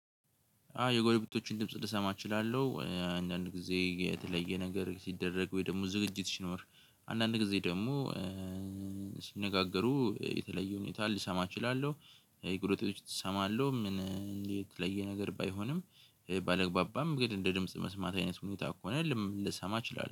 አዎ የጎረቤቶቹን ድምጽ ልሰማ እችላለሁ አንዳንድ ጊዜ የተለየ ነገር ሲደረግ ወይ ደግሞ ዝግጅት ሲኖር። አንዳንድ ጊዜ ደግሞ ሲነጋገሩ የተለየ ሁኔታ ልሰማ እችላለሁ። ይቁረጥጦች እሰማለሁ ምን? የተለየ ነገር ባይሆንም ባለግባባም ግን እንደ ድምጽ መስማት አይነት ሁኔታ ከሆነ ልሰማ እችላለሁ